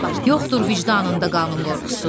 Yoxdur vicdanında qanın qorxusu.